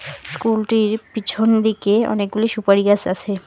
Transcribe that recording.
স্কুলটির পিছন দিকে অনেক গুলি সুপারি গাছ আছে।